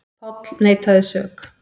Páll neitaði sök.